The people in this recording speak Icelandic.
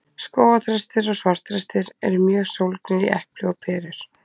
Skógarþrestir og svartþrestir eru mjög sólgnir í epli og perur.